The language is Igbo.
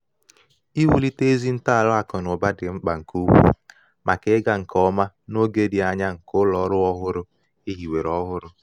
iwulite ezi ntọala akụ na ụba dị mkpa nke ukwuu maka ịga nke ọma n’oge dị anya nke ụlọ ọrụ ọhụrụ e hiwere ọhụrụ.